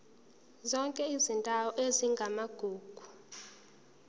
zonke izindawo ezingamagugu